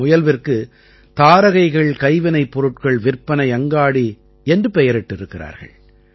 இந்த முயல்விற்கு தாரகைகள் கைவினைப்பொருட்கள் விற்பனை அங்காடி என்று பெயரிட்டிருக்கிறார்கள்